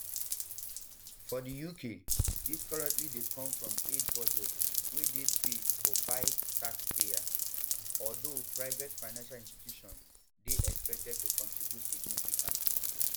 for di uk dis currently dey come from aid budgets wey dey paid um for by taxpayers although private financial institutions dey expected to contribute significantly